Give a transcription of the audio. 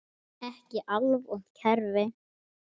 Ekki alvont kerfi.